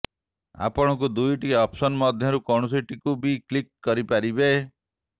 ଆପଣଙ୍କୁ ଦୁଇଟି ଅପସନ ମଧ୍ୟରୁ କୌଣସିଟିକୁ ବି କ୍ଲିକ୍ କରିପାରିବେ